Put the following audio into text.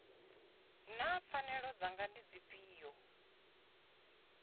naa pfanelo dzanga ndi dzifhio